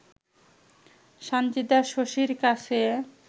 সানজিদা শশীর কাছে